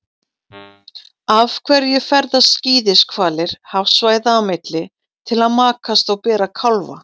Af hverju ferðast skíðishvalir hafsvæða á milli til að makast og bera kálfa?